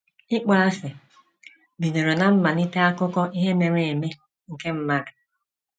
ỊKPỌASỊ bidoro ná mmalite akụkọ ihe mere eme nke mmadụ.